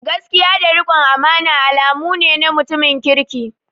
Gaskiya da rikon amana alamu ne na mutumin kirki.